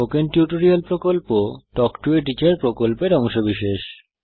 spoken tutorial প্রকল্প talk to a teacher প্রকল্পের অংশবিশেষ